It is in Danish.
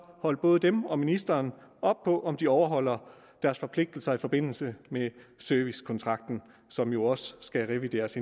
holde både dem og ministeren op på om de overholder deres forpligtelser i forbindelse med servicekontrakten som jo også skal revideres